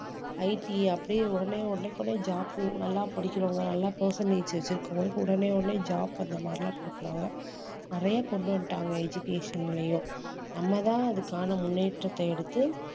IT அப்படியே உடனே உடனே கூட job உ நல்லா படிக்கிறவங்க நல்லா percentage வச்சிருக்கவங்களுக்கு உடனே உடனே job அந்த மாதிரிலாம் கொடுக்கிறாங்க நிறைய கொண்டு வந்துட்டாங்க education லயும் நம்மதான் அதுக்கான முன்னேற்றத்தை எடுத்து